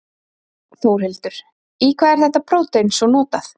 Þórhildur, í hvað er þetta prótein svo notað?